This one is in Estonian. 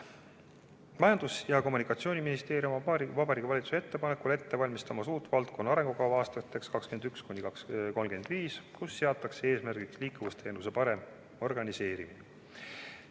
Majandus- ja Kommunikatsiooniministeerium valmistab Vabariigi Valitsuse ettepanekul ette uut valdkonna arengukava aastateks 2021–2035, kus seatakse eesmärgiks liikuvusteenuse parem organiseerimine.